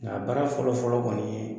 Nka a baara fɔlɔ-fɔlɔ kɔni